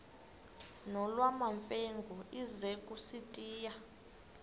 nolwamamfengu ize kusitiya